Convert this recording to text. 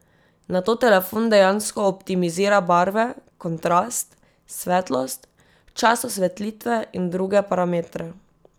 Nato telefon dejansko optimizira barve, kontrast, svetlost, čas osvetlitve in druge parametre.